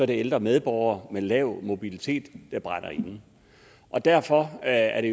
det ældre medborgere med lav mobilitet der brænder inde og derfor er